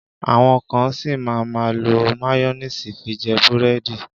Àwọn kan ṣì máa má lo máyónísì fi jẹ búrẹ́dì.